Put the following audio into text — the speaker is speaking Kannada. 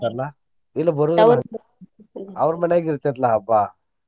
ಇಲ್ಲ ಬರೋದಿಲ್ಲ ಅವ್ರ ಮನ್ಯಾಗ್ ಇರ್ತೆತ್ಲಾ ಹಬ್ಬಾ.